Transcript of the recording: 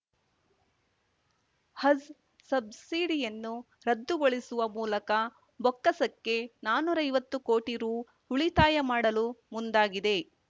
ಹಜ್‌ ಸಬ್ಸಿಡಿಯನ್ನು ರದ್ದುಗೊಳಿಸುವ ಮೂಲಕ ಬೊಕ್ಕಸಕ್ಕೆ ನಾನೂರೈವತ್ತು ಕೋಟಿ ರು ಉಳಿತಾಯ ಮಾಡಲು ಮುಂದಾಗಿದೆ